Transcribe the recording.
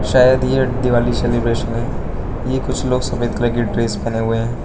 शायद ये दिवाली सेलिब्रेशन है ये कुछ लोग सफेद कलर की ड्रेस पहने हुए हैं।